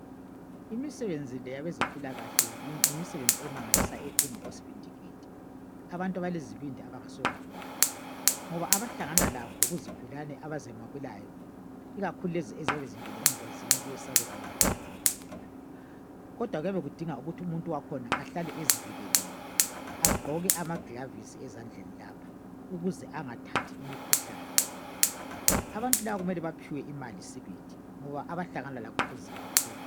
imisebenzi le yabezempilakahle yimisebenzi emangalisayo edinga osibindigidi abantu abalezibindi abangesiwo magwala ngoba abahlangana lakho kuzigulane abazamukelayo ikakhulu lezi eziyabe zingene engozini kuyesabeka kakhulu kodwa kuyabe kudinga ukuthi umuntu wakhona ezivikelile agqoke amaglavisi ezandleni lapha ukuze angathathi imikhuhlane abantu laba kumele baphiwe imali sibili ngoba abahlangana lakho kunzimakakhulu